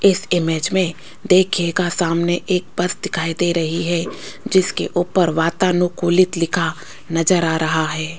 इस इमेज में देखिएगा सामने एक बस दिखाई दे रही है जिसके ऊपर वातानुकूलित लिखा नजर आ रहा है।